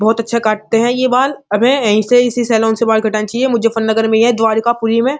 बहुत अच्छा काटते है ये बाल हमें यही से इसी सैलून से बाल कटानी चाहिए मुज्जफल नगर में है द्वारका पूरी में।